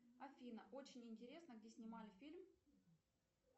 афина очень интересно где снимали фильм